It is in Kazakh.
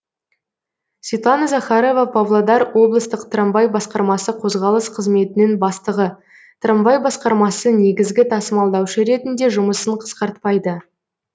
светлана захарова павлодар облыстық трамвай басқармасы қозғалыс қызметінің бастығы трамвай басқармасы негізгі тасымалдаушы ретінде жұмысын қысқартпайды